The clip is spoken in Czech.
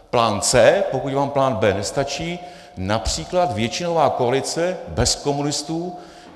Plán C, pokud vám plán B nestačí, například většinová koalice bez komunistů.